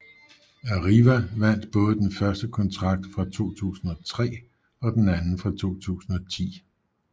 Arriva vandt både den første kontrakt fra 2003 og den anden fra 2010